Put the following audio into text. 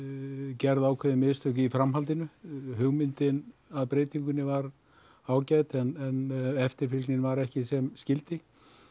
gerð ákveðin mistök í framhaldinu hugmyndin að breytingunni var ágæt en eftirfylgnin var ekki sem skyldi